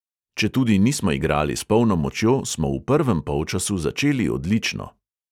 Četudi nismo igrali s polno močjo, smo v prvem polčasu začeli odlično.